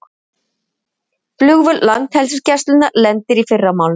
Flugvél Landhelgisgæslunnar lendir í fyrramálið